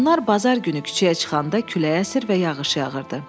Onlar bazar günü küçəyə çıxanda külək əsir və yağış yağırdı.